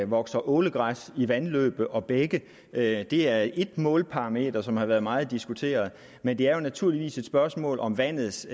vokser ålegræs i vandløb og bække det er et målparameter som har været meget diskuteret men det er naturligvis et spørgsmål om vandets